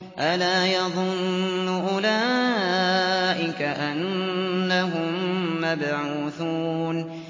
أَلَا يَظُنُّ أُولَٰئِكَ أَنَّهُم مَّبْعُوثُونَ